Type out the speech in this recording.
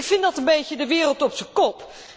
Ik vind dat een beetje de wereld op zijn kop.